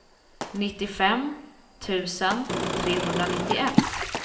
nittiofem tusen trehundranittioett